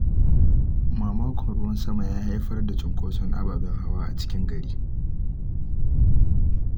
Mamakon ruwan sama ya haifar da cunkoson ababen hawa a cikin gari.